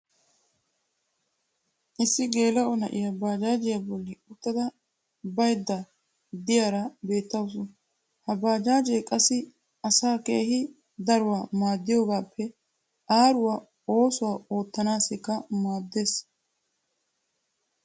issi geela'o na'iyaa bajaajjiya boli uttada baydda diyaara beetawusu. ha baajaajje qassi asaa keehi daruwaa maadiyoogaappe aaruwa oosuwaa ottanaassikka maadees.